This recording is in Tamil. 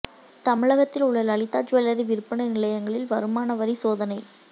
தமிழகத்தில் உள்ள லலிதா ஜுவல்லரி விற்பனை நிலையங்களில் வருமான வரி சோதனை